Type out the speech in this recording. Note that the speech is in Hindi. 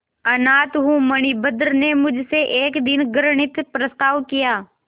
अनाथ हूँ मणिभद्र ने मुझसे एक दिन घृणित प्रस्ताव किया